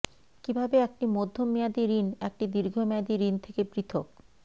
কিভাবে একটি মধ্যম মেয়াদী ঋণ একটি দীর্ঘমেয়াদী ঋণ থেকে পৃথক